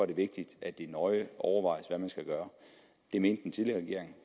det vigtigt at det nøje overvejes hvad man skal gøre det mente den tidligere regering